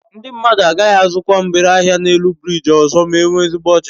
Ndi mmadu agaghi azukwa mgbere ahia n'elu biriji ọzọ ma enwe ezigbo ọchịchị